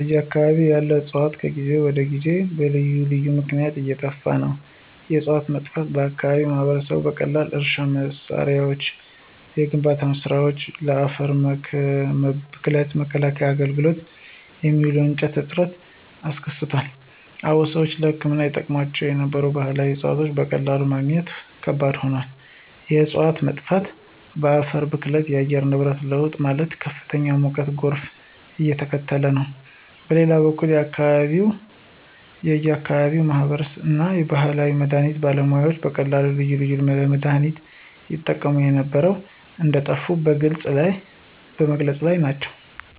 በአከባቢው ያሉ ዕፅዋት ከጊዜ ወደ ጊዜ በልዩ ልዩ ምክነያት እየጠፋ ነው። የዕፅዋቶቹ መጥፋት በአከባቢው ማህበረሰብ በቀላሉ ለእርሻ መሳሪያዎች፣ ለግንባታ ስራወች፣ ለአፈር ብክለት መከላከያ አገልግሎት የሚውሉ እንጨቶች እጥረት አስከትሏል። አዎን ሰዎች ለህክምና ይጠቀሙባቸው የነበሩ ባህላዊ ዕፅዋቶች በቀላሉ ማግኘት ከባድ ሆኗል። የእፅዋቶች መጥፋት በአፈር ብክለት፣ በአየር ንብረት ለውጥ ማለትም ከፍተኛ ሙቀትና ጎርፍ እያስከተለ ነው። በሌላ በኩል የአከባቢው የአከባቢው ማህበረሰብ እና የባህል መድሀኒት ባለሙያዎች በቀላሉ ልዩ ልዩ ለመድሃኒነት ይጠቀሙ የነበሩ እንደጠፉ በመግለፅ ላይ ናቸው።